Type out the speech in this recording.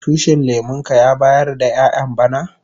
Tushin lemun ka ya bayar da ƴayan bana?